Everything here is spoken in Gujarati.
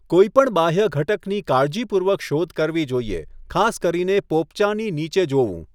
કોઈપણ બાહ્ય ઘટકની કાળજીપૂર્વક શોધ કરવી જોઈએ, ખાસ કરીને પોપચાંની નીચે જોવું.